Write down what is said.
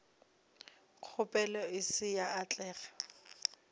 kgopelo e se ya atlega